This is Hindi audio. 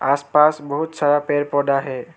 आसपास बहुत सारा पेड़ पौधा है।